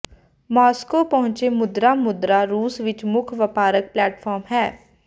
Moscow ਪਹੁੰਚ ਮੁਦਰਾ ਮੁਦਰਾ ਰੂਸ ਵਿਚ ਮੁੱਖ ਵਪਾਰਕ ਪਲੇਟਫਾਰਮ ਹੈ